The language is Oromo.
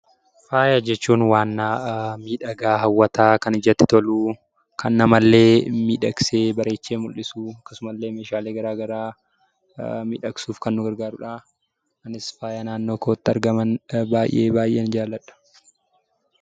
Faaya jechuun wanna miidhagaa, hawwataa, kan ijatti tolu, kan namallee miidhagsee bareechee mul'isu, akkasumallee meeshaalee gara garaa miidhagsuuf kan nu gargaaru dha. Anis faaya naannoo kootti argaman baay'ee baay'een jaalladha.